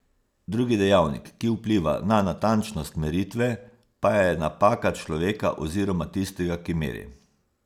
Drugi dejavnik, ki vpliva na natančnost meritve, pa je napaka človeka oziroma tistega, ki meri.